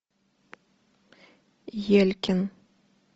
елькин